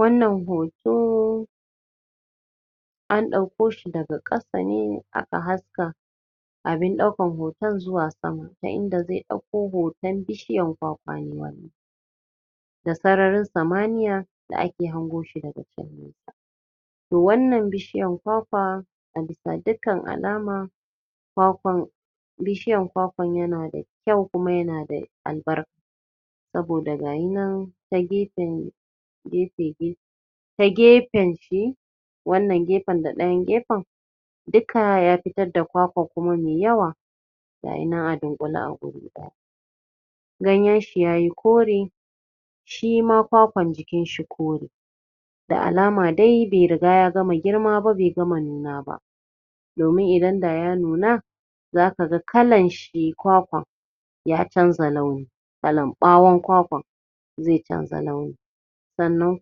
Wannan hoto an ɗauko shi daga ƙasa ne a ka haska abin ɗaukar hoton zuwa sama ta inda zai ɗauko hoton bishiyar kwakwa ne da sararin samaniya da ake hango shi daga can to wannan bishiyan kwakwa a bisa dukkan alama kwakwan bishiyan kwakwan yana da kyau yana da albarka saboda gaya nan ta gefe gefen ta gefen shi wannan gefen da ɗayan gefen duka ya fitar da kwakwan kuma mai yawa ga ya nan a dunƙule a guri ganyen shi ya yi kore shi ma kwakwan jikin shi kore da alama dai bai riga ya gama girma ba ya gama nuna ba. domin idan da ya nuna za ka ga kalan shi kwakwan ya canza launi. kalan ɓawon kwakwan ya canza launi sannan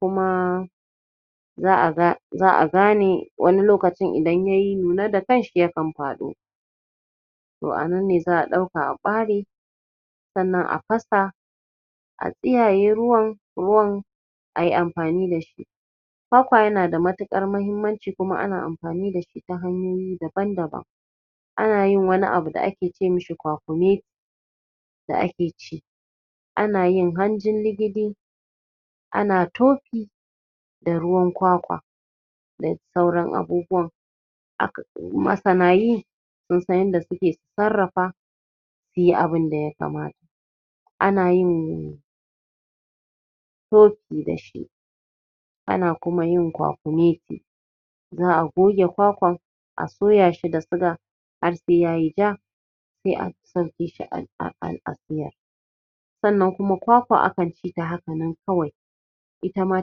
kuma za a ga za a gane wani lokacin idan ya nuna da kanshi za ya faɗo to a nan ne za a ɗauka a ɓare sannan a fasa a tsiyaye ruwan, ruwan sai a yi amfani da shi kwakwa yana da matuƙar muhimmanci kuma ana amfani da shi ta hanyoyi dan-daban ana yin wani abu da ake ce mashi kwakumeti da ake ci ana yin hanjin ligidi, ana tofi, da ruwan kwakwa da sauran abubuwa. Aka masana yi sun san yadda suke sarrafa su yi abuin da ya kamata. Ana yin tofi da shi ana kuma yin kwakumeti za a goge kwakwan a soya shi da siga har sai yayi ja, sai a sabke shi a a a a siya. sannakuma kwakwa akan ci ata haka nan kawai, ita ma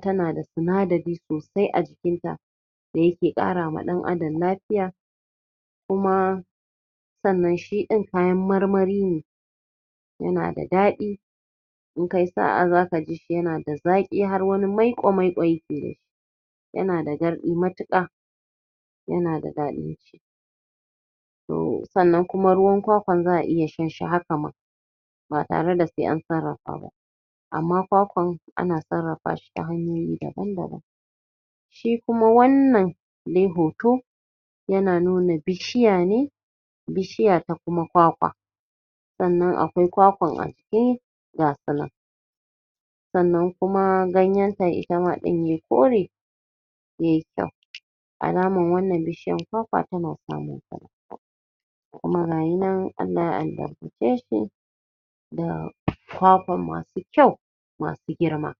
tana da sinadari sosai a jikinta da yake ƙarawa ɗan'adam lafiya kuma sansan shiɗin kamar marmari ne yana da daɗi in kai sa'a za ka ji shi yana da daɗi har wani maiƙo-maiƙo ya ke yi yana da garɗi matuƙa yana da daɗi to sannan kuma ruwan kwakwan za a iya shan shi haka ma ba tare da sai an sarrafa ba amma kwakwan ana sarrafa shi ta hanyoyi daban-daban shi kuma wannan ɗaya hoto yana nuna bishiya ne bishiya ta kuma kwakwa sannan akwai kwakwan a jiki ga su nan sannan ganyenta ita ma ɗin yai kore yai kyau, alamar wannan bishiyar kwakwa tana samun kuma ga ya nan Allah ya albarka ce shi da kwakwan masu kyau masu girma.